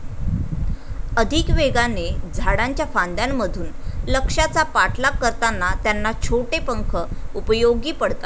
अधिक वेगाने, झाडांच्या फांद्यांमधून, लक्ष्याचा पाठलाग करताना त्यांना छोटे पंख उपयोगी पडतात.